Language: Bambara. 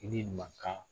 I ni mankan